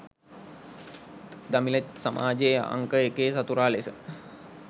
ත් දමිළ සමාජයේ අංක එකේ සතුරා ලෙස